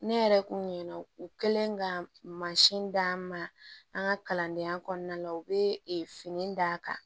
Ne yɛrɛ kun ɲinɛna u kɛlen ka mansin d'an ma an ka kalandenya kɔnɔna na u bɛ fini d'a kan